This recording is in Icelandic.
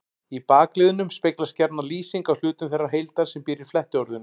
Í bakliðnum speglast gjarna lýsing á hlutum þeirrar heildar sem býr í flettiorðinu.